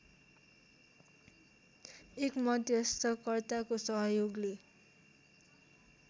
एक मध्यस्थकर्ताको सहयोगले